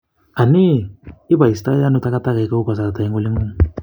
Anii, iboistoiano tagatakek kou kasrta en olingung.